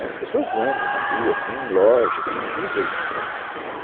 né, as pessoas andam na rua, tem loja, tem tudo ali, né